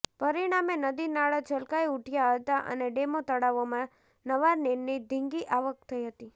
પરિણામે નદી નાળા છલકાઈ ઉઠયા હતાં અને ડેમો તળાવોમાં નવા નીરની ધીંગી આવક થઈ હતી